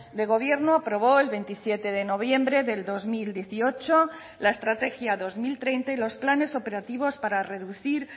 de gobierno aprobó el veintisiete de noviembre del dos mil dieciocho la estrategia dos mil treinta y los planes operativos para reducir